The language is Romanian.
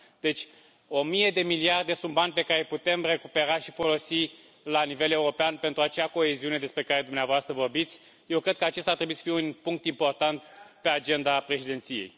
Deci, o mie de miliarde sunt bani pe care îi putem recupera și folosi la nivel european pentru acea coeziune despre care dumneavoastră vorbiți. Eu cred că acesta ar trebui să fie un punct important pe agenda președinției.